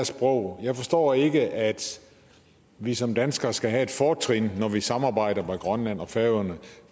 sprog jeg forstår ikke at vi som danskere skal have et fortrin når vi samarbejder med grønland og færøerne